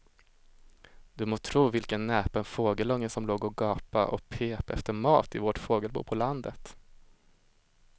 Du må tro vilken näpen fågelunge som låg och gapade och pep efter mat i vårt fågelbo på landet.